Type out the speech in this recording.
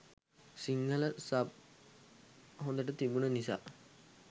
Sinhala sub හොදට තිබුන නිසා.